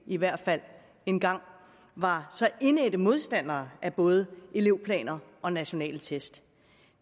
i hvert fald engang var indædte modstandere af både elevplaner og nationale test